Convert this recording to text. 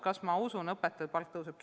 Kas ma usun, et õpetajate palk tõuseb?